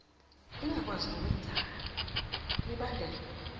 ingakwazi ngokwengeza kumibandela